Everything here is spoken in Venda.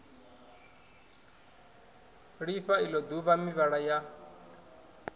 lifha ilo duvha mivhala ya